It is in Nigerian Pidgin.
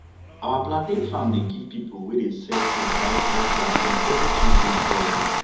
our plantain farm dey give pipu wey dey sell food ripe ripe plantain everi tuesday and thursday